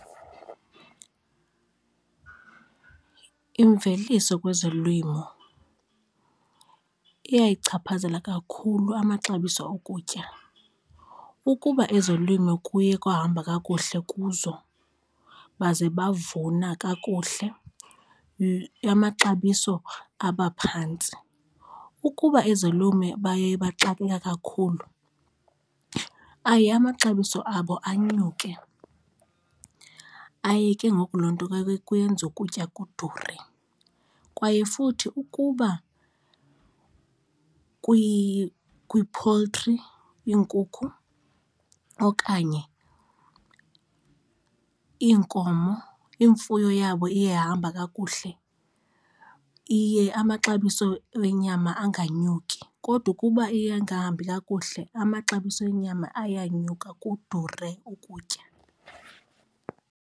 Imveliso kwezolimo iyayichaphazela kakhulu amaxabiso okutya. Ukuba ezolimo kuye kwahamba kakuhle kuzo baze bavuna kakuhle, amaxabiso aba phantsi. Ukuba ezolume baye baxakeka kakhulu aye amaxabiso abo anyuke aye ke ngoku loo nto kuyenza ukutya kudure kwaye futhi ukuba kwi-poultry iinkukhu okanye iinkomo imfuyo yabo iye yahamba kakuhle, iye amaxabiso enyama anganyuki kodwa ukuba iye ingahambi kakuhle amaxabiso enyama ayanyuka, kudure ukutya.